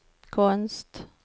konst